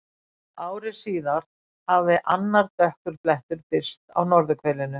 Ári síðar hafði annar dökkur blettur birst á norðurhvelinu.